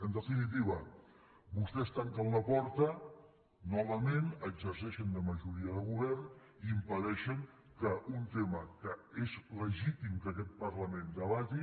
en definitiva vostès tanquen la porta novament exerceixen de majoria de govern i impedeixen que un tema que és legítim que aquest parlament debati